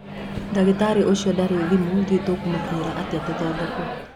Ndagĩtarĩ ũcio ndarĩ thimũ ndiũĩ tũkũmũnyita atĩa tũthondekwo